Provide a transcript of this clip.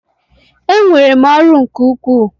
Enwere m ọrụ nke ukwuu.